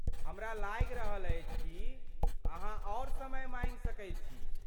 हमरा लागि रहल अछि कि अहाँ आओर समय माँगि सकैत छी।